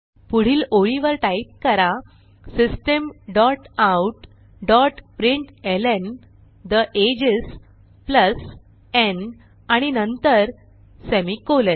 पुढील ओळीवर टाईप करा system dot out dot println ठे एजेस प्लस न् आणि नंतरsemicolon